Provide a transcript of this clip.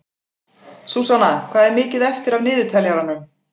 Súsanna, hvað er mikið eftir af niðurteljaranum?